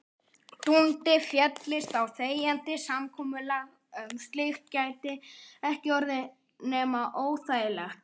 Dundi féllist á þegjandi samkomulag um slíkt gæti það ekki orðið nema óþægilegt.